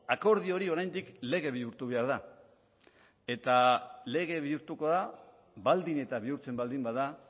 akordio hori oraindik lege bihurtu behar da eta lege bihurtuko da baldin eta bihurtzen baldin bada